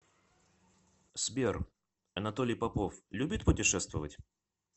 сбер анатолий попов любит путешествовать